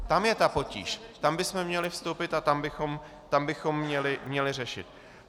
Tam je ta potíž, tam bychom měli vstoupit a tam bychom měli řešit.